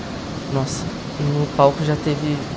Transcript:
Nossa, no palco, já teve